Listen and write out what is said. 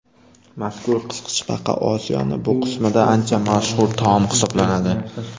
Mazkur qisqichbaqa Osiyoning bu qismida ancha mashhur taom hisoblanadi.